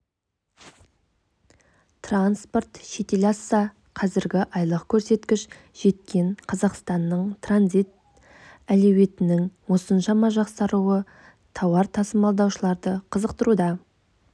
транспорт шетел асса қазіргі айлық көрсеткіш жеткен қазақстанның транзит әлеуетінің осыншама жақсаруы тауар тасымалдаушыларды қызықтыруда